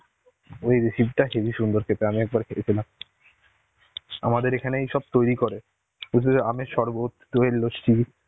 ওই recipe টা heavy সুন্দর খেতে. আমি একবার খেয়েছিলাম. আমাদের এখানেই সব তৈরি করে বুঝলে আম এর সরবত দই এর লস্যি,